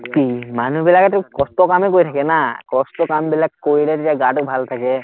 কি মানুহবিলাকতো কষ্টৰ কামেই কৰি থাকে না, কষ্টৰ কামবিলাক কৰিলে তেতিয়া গাটো ভালে থাকে